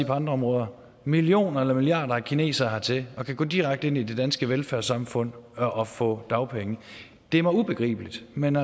på andre områder millioner eller milliarder af kinesere hertil kan gå direkte ind i det danske velfærdssamfund og få dagpenge det er mig ubegribeligt men